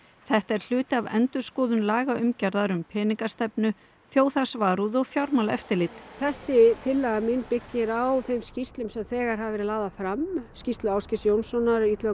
þetta er hluti af endurskoðun lagaumgjarðar um peningastefnu þjóðhagsvarúð og fjármálaeftirlit þessi tillaga mín byggir á þeim skýrslum sem þegar hafa verið lagðar fram skýrslu Ásgeirs Jónssonar Illuga